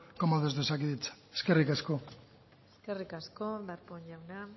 como desde osakidetza eskerrik asko eskerrik asko darpón jauna